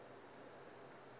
tiindastri